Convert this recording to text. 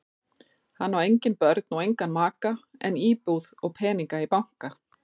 Hann á engin börn og engan maka en íbúð og peninga í banka.